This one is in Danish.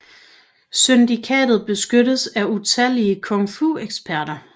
Syndikatet beskyttes af utallige kung fu eksperter